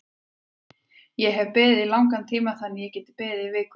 Ég hef beðið í langan tíma þannig að ég get beðið í viku í viðbót.